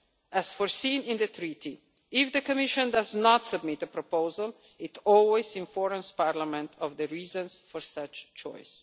As foreseen in the Treaty, if the Commission does not submit a proposal, it always informs Parliament of the reasons for such a choice.